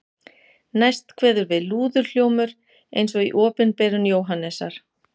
Næst kveður við lúðurhljómur eins og í Opinberun Jóhannesar